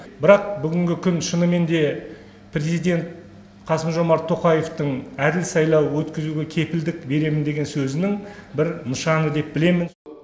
бірақ бүгінгі күн шынымен де президент қасым жомарт тоқаевтың әділ сайлау өткізуге кепілдік беремін деген сөзінің бір нышаны деп білемін